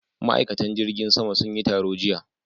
Ma'aikatan jirgin saman sun yi taro jiya.